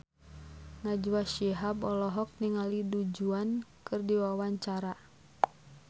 Najwa Shihab olohok ningali Du Juan keur diwawancara